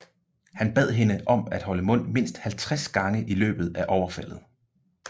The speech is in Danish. Han bad hende om at holde mund mindst 50 gange i løbet af overfaldet